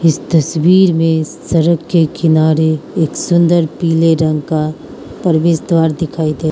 इस तस्वीर में सरक के किनारे एक सुंदर पीले रंग का प्रवेश द्वार दिखाई दे--